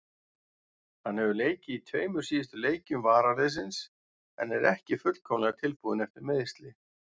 Hann hefur leikið í tveimur síðustu leikjum varaliðsins en er ekki fullkomlega tilbúinn eftir meiðsli.